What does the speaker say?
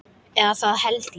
Eða það held ég.